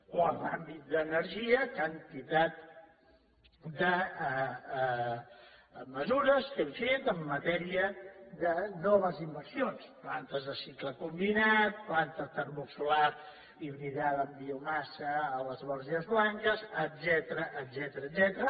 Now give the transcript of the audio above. o en l’àmbit d’energia quantitat de mesures que hem fet en matèria de noves inversions plantes de cicle combinat planta termosolar hibridada amb biomassa a les borges blanques etcètera